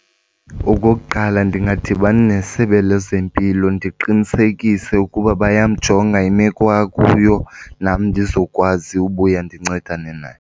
Okokuqala, ndingadibana neSebe lezeMpilo ndiqinisekise ukuba bayamjonga imeko akuyo nam ndizokwazi ubuya ndincedane naye.